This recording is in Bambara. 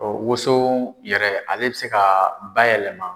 Ɔ woso yɛrɛ ale bɛ se ka bayɛlɛma.